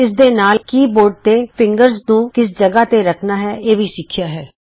ਇਸ ਦੇ ਨਾਲ ਹੀ ਅਸੀਂ160 ਕੀ ਬੋਰਡ ਤੇ ਉਂਗਲਾਂ ਟਿਕਾਣੀਆਂ ਵੀ ਸਿਖਿਆ ਹੈ